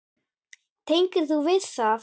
Tengir þú við það?